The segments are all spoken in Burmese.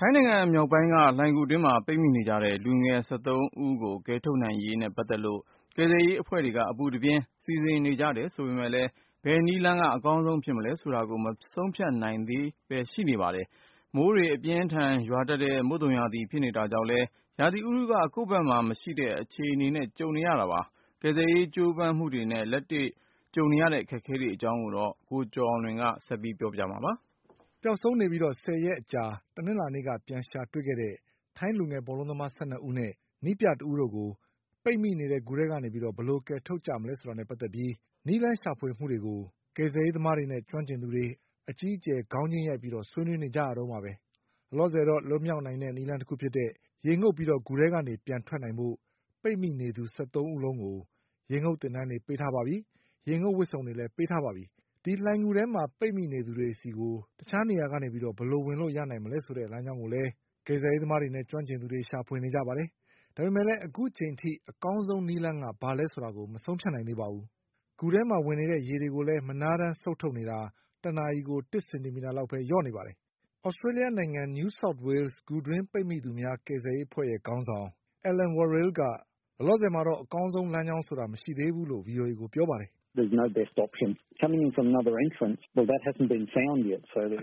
ထိုင်းနိုင်ငံမြောက်ပိုင်းက လှိုင်ဂူအတွင်းမှာ ပိတ်မိနေကြတဲ့ လူငယ်၁၃ဦးကို ကယ်ထုတ်ရေးနဲ့ပတ်သက်လို့ ကယ်ဆယ်ရေး အဖွဲ့တွေက အပူတပြင်းစီစဉ်နေကြတယ်ဆိုပေမဲ့လည်း ဘယ်နည်းလမ်းကအကောင်းဆုံးဖြစ်မလဲဆိုတာကို မဆုံးဖြတ်နိုင် ကြသေးပါဘူး။ မိုးတွေအပြင်းအထန်ရွာတတ်တဲ့ မုတ်သုန်ရာသီဖြစ်နေတာကြောင့်လည်း ရာသီဥတုက ကိုယ့်ဘက်မှာမရှိ တဲ့ အခြေအနေနဲ့ ကြုံနေရတာပါ။ ကယ်ဆယ်ရေးကြိုးပမ်းမှုတွေနဲ့ လက်ရှိကြုံနေရတဲ့အခက်အခဲတွေအကြောင်း ကိုကျော် အောင်လွင်က ဆက်ပြီးပြောပြပါလိမ့်မယ်။ ပျောက်ဆုံးနေပြီးဆယ်ရက်အကြာ တနင်္လာနေ့က ပြန်ရှာတွေ့ခဲ့တဲ့ ထိုင်းလူငယ်ဘောလုံးသမား၁၂ဦးနဲ့ နည်းပြတဦးတို့ကို ပိတ်မိနေတဲ့ ဂူထဲကနေ ဘယ်လိုကယ်ထုတ်ကြမလဲဆိုတာနဲ့ပတ်သက်တဲ့ နည်းလမ်းရှာဖွေမှုတွေကို ကယ်ဆယ်ရေး သမားတွေနဲ့ ကျွမ်းကျင်သူတွေ အကြီးအကျယ်ခေါင်းချင်းရိုက်ပြီး ဆွေးနွေးနေကြရတုန်းပါ။ လောလောဆယ်တော့ လွတ် မြောက်နိုင်တဲ့နည်းလမ်းတခုဖြစ်တဲ့ ရေငုပ်ပြီးဂူထဲကနေပြန်ထွက်နိုင်ဖို့ ပိတ်မိနေသူ ၁၃ဦးလုံးကို ရေငုပ်သင်တန်းတွေ ပေးထားပါပြီ။ ရေငုပ်ဝတ်စုံတွေလည်း ပေးထားပါပြီ။ ဒီလှိုင်ဂူထဲက ပိတ်မိနေသူတွေဆီကို တခြားနေရာကနေ ဘယ်လိုဝင် လို့ရနိုင်မလဲဆိုတဲ့ လမ်းကြောင်းကိုလည်းကယ်ဆယ်ရေးသမားတွေက ရှာဖွေနေကြပါတယ်။ ဒါပေမဲ့လည်း အခုချိန်ထိ အကောင်းဆုံး နည်းလမ်းက ဘာလဲဆိုတာကို မဆုံးဖြတ်နိုင်သေးပါဘူး။ ဂူထဲမှာဝင်နေတဲ့ရေတွေကိုလည်း မနားတမ်းစုတ် ထုတ်နေတာ တနာရီကို တစ်စင်တီမီတာလောက်ပဲလျှော့နေပါတယ်။ သြစတေးလျှနိုင်ငံ New South Wales ဂူတွင်းပိတ်မိသူများ ကယ်ဆယ်ရေးအဖွဲ့ခေါင်းဆောင် Alan Warild က လောလောဆယ်မှာတော့ အကောင်းဆုံးလမ်း ကြောင်းဆိုတာမရှိသေးဘူးလို့ဗီအိုအေကိုပြောပါတယ်။ "အ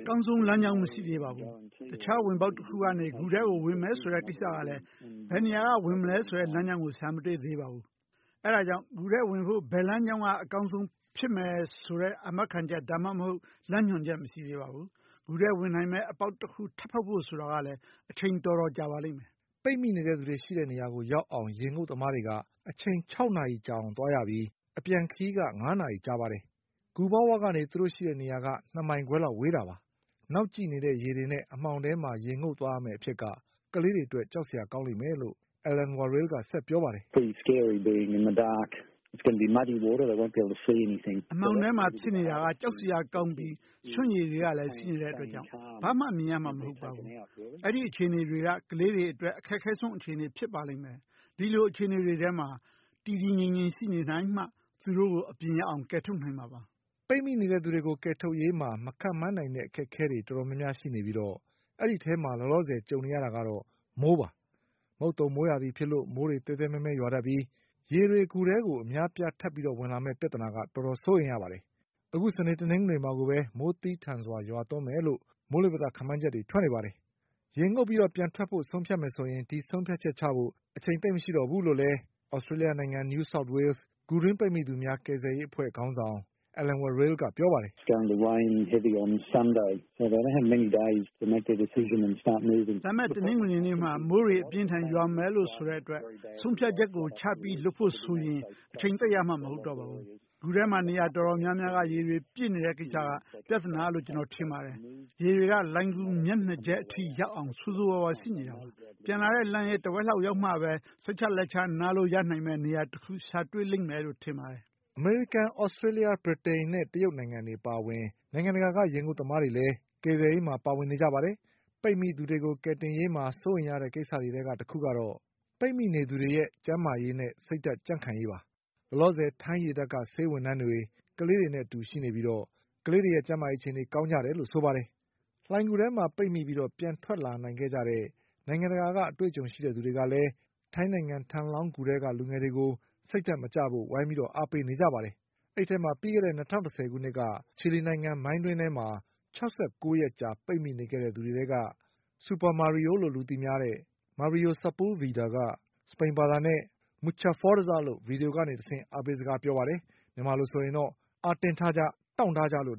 ကောင်းဆုံးလမ်းကြောင်း မရှိသေးပါဘူး။ တခြားဝင်ပေါက်တခုကနေ ဂူထဲကိုဝင်မယ်ဆိုတဲ့ကိစ္စကလည်း ဘယ်ကနေ ဝင်မလဲဆိုတဲ့လမ်းကြောင်းကို ရှာမတွေ့သေးပါဘူး။ အဲဒါကြောင့် ဂူထဲကိုဝင်ဖို့ ဘယ်လမ်းကြောင်းက အကောင်းဆုံးဖြစ် မယ်ဆိုတဲ့ အာမခံချက် ဒါမှမဟုတ် လမ်းညွှန်ချက်မရှိသေးပါဘူး။ ဂူထဲကိုဝင်နိုင်မယ့်အပေါက်တခုထပ်ဖေါက်ဖို့ဆိုတာက လည်း အချိန်တော်တော်ကြာပါလိမ့်မယ်" ပိတ်မိနေသူတွေရှိတဲ့နေရာကိုရောက်အောင် ရေငုပ်သမားတွေက အချိန်၆နာရီကြာအောင်သွားရပြီး အပြန်ခရီးက ၅နာရီ ကြာပါတယ်။ ဂူပေါက်ဝနေ သူတို့ရှိတဲ့နေရာက ၂မိုင်ခွဲလောက်ဝေးတာပါ။ နောက်ကျိနေတဲ့ရေတွေနဲ့အမှောင်ထဲမှာ ရေငုပ်သွားရမယ့်အဖြစ်က ကလေးတွေ အတွက် ကြောက်စရာကောင်းလိမ့်မယ်လို့ Alan Warild ကဆက်ပြောပါတယ်။ "အမှောင်ထဲမှာဖြစ်နေတာက ကြောက်စရာကောင်းပြီး ရွှံ့ရေတွေကလည်းရှိနေတာကြောင့် ဘာမှမြင်ရမှာ မဟုတ်ပါဘူး။ အဲဒီအခြေအနေတွေက ကလေးတွေအတွက် အခက်ဆုံးအခြေအနေဖြစ်ပါလိမ့်မယ်။ ဒီလိုအခြေအနေတွေထဲမှာ တည် တည်ငြိမ်ငြိမ်ရှိနေနိုင်မှ သူတို့ကိုအပြင်ရောက်အောင် ကယ်ထုတ်နိုင်မှာပါ။" ပိတ်မိနေသူတွေကယ်ထုတ်ရေးမှာ မခန့်မှန်းနိုင်တဲ့အခက်အခဲတွေတော်တော်များများရှိနေပြီး အဲဒီအထဲမှာ လောလော ဆယ်ကြုံနေရတာကတော့ မိုးပါ။ မုတ်သုန်မိုးရာသီဖြစ်လို့ မိုးတွေသဲသဲမဲမဲရွာတတ်ပြီး ရေတွေဂူထဲကို အများအပြားထပ် ဝင်လာ မယ့်ပြဿနာက တော်တော်စိုးရိမ်ရပါတယ်။အခုစနေတနင်္ဂနွေမှာကိုပဲ မိုးသည်းထန်စွာရွာမယ်ဆိုတဲ့မိုးလေဝသ ခန့်မှန်း ချက်တွေထွက်နေတာပါ။ ရေငုပ်ပြီးပြန်ထွက်ဖို့ဆုံးဖြတ်မယ်ဆိုရင် ဒီဆုံးဖြတ်ချက်ကိုချဖို့ အချိန်သိပ်ရှိတော့ဘူးလို့ လည်း သြစတေးလျှနိုင်ငံ New South Wales ဂူတွင်းပိတ်မိသူများ ကယ်ဆယ်ရေးအဖွဲ့ခေါင်းဆောင် Alan Warild က ပြောပါတယ်။ "လာမယ့်တနင်္ဂနွေနေ့မှာ မိုးတွေအပြင်းအထန်ရွာမယ်လို့ဆိုတာကြောင့် ဆုံးဖြတ်ချက်ကိုချပြီးလုပ်ဖို့ဆိုရင် အချိန်သိပ်ရမှာ မဟုတ်တော့ပါဘူး။ ဂူထဲမှာနေရာတော်တော်များများက ရေတွေပြည့်နေတဲ့ကိစ္စက ပြဿနာလို့ ကျနော်ထင်ပါတယ်။ ရေ တွေက လှိုင်ဂူမျက်နှာကျက်အထိရောက်အောင် ဆိုးဆိုးဝါးဝါးရှိနေတာပါ။ ပြန်လာတဲ့လမ်းရဲ့တဝက်လောက်ရောက်မှပဲ စိတ်ချလက်ချ နားလို့ရနိုင်မယ့်နေရာတခုကိုရှာတွေ့လိမ့်မယ်လို့ထင်ပါတယ်။" အမေရိကန်၊ သြစတေးလျှ၊ ဗြိတိန်နဲ့ တရုတ်နိုင်ငံတွေအပါအဝင် နိုင်ငံတကာ က ရေငုပ်သမားတွေလည်း ကယ်ဆယ်ရေး မှာ ပါဝင်နေကြပါတယ်။ ပိတ်မိသူတွေကို ကယ်တင်ရေးမှာ စိုးရိမ်ရတဲ့ကိစ္စတွေထဲက တခုကတော့ ပိတ်မိနေသူတွေရဲ့ ကျန်းမာရေးနဲ့ စိတ်ဓါတ် ကြံ့ခိုင်ရေးပါ။ လောလောဆယ် ထိုင်းရေတပ်က ဆေးဝန်ထမ်းတွေ ကလေးတွေအတူရှိနေပြီး ကလေးတွေရဲ့ ကျန်းမာ ရေးအခြေအနေကောင်းတယ်လို့ဆိုပါတယ်။ လှိုင်ဂူအတွင်းမှာပိတ်မိပြီး ပြန်ထွက်လာနိုင်ခဲ့ကြတဲ့ နိုင်ငံတကာက အတွေ့အကြုံရှိသူတွေကလည်း ထိုင်းနိုင်ငံ Tham Luang ဂူထဲက လူငယ်တွေကို စိတ်ဓါတ်မကျဖို့ဝိုင်းပြီး အားပေးနေပါတယ်။ အဲဒီအထဲမှာ ပြီးခဲ့တဲ့၂၀၁၀ခုနှစ်က ချီလီနိုင်ငံမိုင်းတွင်းထဲမှာ ၆၉ရက်ကြာပိတ်မိနေခဲ့တဲ့သူတွေထဲက ဆူပါ မာရီယိုလို့ သူသိများတဲ့ Mario Sepulveda က စပိန်ဘာသာနဲ့ Mucha Fuerzaလို့ ဗီဒီယိုကတဆင့် အားပေးစကား ပြောလိုက်ပါတယ်။ မြန်မာလိုဆိုရင်တော့ “အားတင်းထားကြ၊ တောင့်ထားကြ” လို့အ